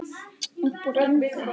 Uppúr engu?